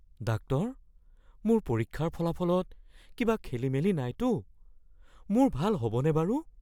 Doctor, মোৰ পৰীক্ষাৰ ফলাফলত কিবা খেলিমেলি নাইতো? মোৰ ভাল হ'বনে বাৰু?